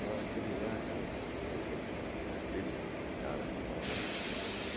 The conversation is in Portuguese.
Falaram aquele lá que é o... Você tem que pedir para aquele cara que está lá.